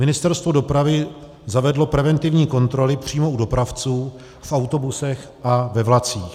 Ministerstvo dopravy zavedlo preventivní kontroly přímo u dopravců, v autobusech a ve vlacích.